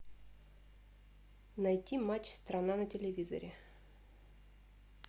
найти матч страна на телевизоре